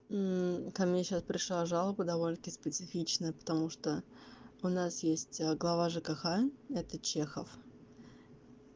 мм ко мне сейчас пришла жалоба довольно-таки специфичная потому что у нас есть глава жкх это чехов